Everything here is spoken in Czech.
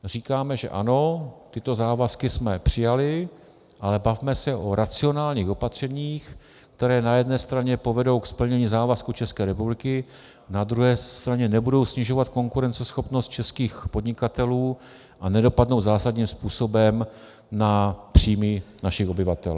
Říkáme, že ano, tyto závazky jsme přijali, ale bavme se o racionálních opatřeních, která na jedné straně povedou ke splnění závazku České republiky, na druhé straně nebudou snižovat konkurenceschopnost českých podnikatelů a nedopadnou zásadním způsobem na příjmy našich obyvatel.